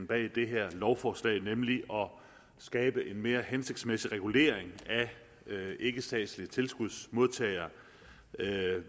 bag det her lovforslag nemlig at skabe en mere hensigtsmæssig regulering af ikkestatslige tilskudsmodtagere